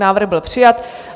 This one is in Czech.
Návrh byl přijat.